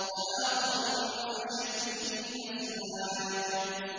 وَآخَرُ مِن شَكْلِهِ أَزْوَاجٌ